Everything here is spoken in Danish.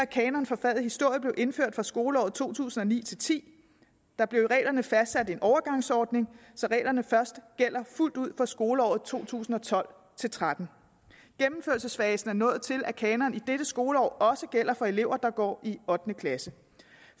kanon for faget historie blev indført fra skoleåret to tusind og ni til ti der blev i reglerne fastsat en overgangsordning så reglerne først gælder fuldt ud fra skoleåret to tusind og tolv til tretten gennemførelsesfasen er nået til at kanonen i dette skoleår også gælder for elever der går i ottende klasse